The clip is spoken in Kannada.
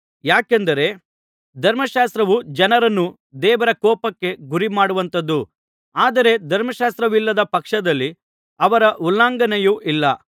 ಯಾಕೆಂದರೆ ಧರ್ಮಶಾಸ್ತ್ರವು ಜನರನ್ನು ದೇವರ ಕೋಪಕ್ಕೆ ಗುರಿಮಾಡುವಂಥದ್ದು ಆದರೆ ಧರ್ಮಶಾಸ್ತ್ರವಿಲ್ಲದ ಪಕ್ಷದಲ್ಲಿ ಅದರ ಉಲ್ಲಂಘನೆಯೂ ಇಲ್ಲ